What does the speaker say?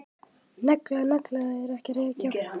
Negla nagla er að reykja.